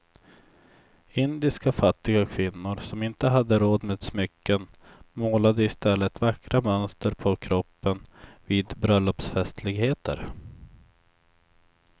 Indiska fattiga kvinnor som inte hade råd med smycken målade i stället vackra mönster på kroppen vid bröllopsfestligheter.